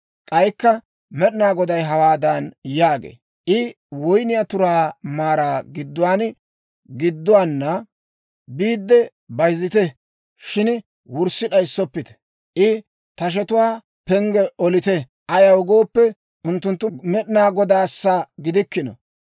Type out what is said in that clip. K'aykka Med'inaa Goday hawaadan yaagee; «I woyniyaa turaa maaraa gidduwaana biidde bayzzite; shin wurssi d'ayissoppite. I tashetuwaa penggii olite; ayaw gooppe, unttunttu Med'inaa Godaassa gidikkino.